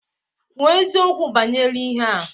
Kwuo eziokwu banyere ihe a!